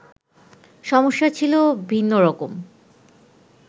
সমস্যা ছিল ভিন্নরকম